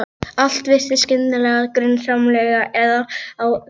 Allt virtist skyndilega grunsamlegt eða á einhvern hátt óeðlilegt.